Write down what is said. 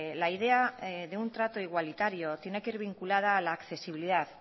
la idea de un trato igualitario tiene que ir vinculada a la accesibilidad